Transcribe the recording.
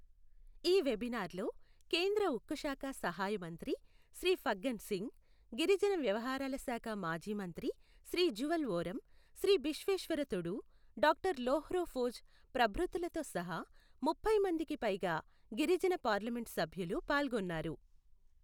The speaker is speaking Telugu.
ఈ వెబీనార్లో కేంద్ర ఉక్కు శాఖ సహాయ మంత్రి శ్రీ ఫగ్గన్ సింగ్, గిరిజన వ్యవహారాల శాఖ మాజీ మంత్రి శ్రీ జువల్ ఓరం, శ్రీ బిశ్వేశ్వర్ తుడు, డాక్టర్ లోర్హో ఫోజ్ ప్రభృతులతో సహా, ముప్పై మందికి పైగా గిరిజన పార్లమెంటు సభ్యులు పాల్గొన్నారు.